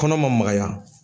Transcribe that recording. Kɔnɔ ma magaya.